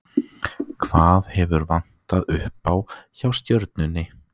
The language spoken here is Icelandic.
Hvað hefur vantað upp á, hjá Stjörnunni?